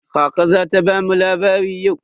Kaka za ta bamu labari yau?